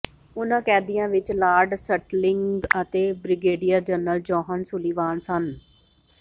ਉਨ੍ਹਾਂ ਕੈਦੀਆਂ ਵਿੱਚ ਲਾਰਡ ਸਟਿਲਲਿੰਗ ਅਤੇ ਬ੍ਰਿਗੇਡੀਅਰ ਜਨਰਲ ਜੌਹਨ ਸੁਲੀਵਾਨ ਸਨ